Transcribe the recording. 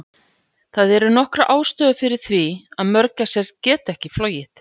Það eru nokkrar ástæður fyrir því að mörgæsir geta ekki flogið.